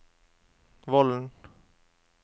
Vollen